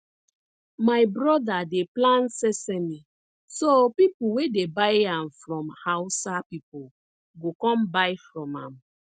my brother dey plant sesame so people wey dey buy am from hausa people go come buy from am